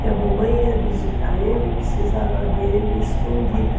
que a mamãe ia visitar ele e precisava ver ele escondida.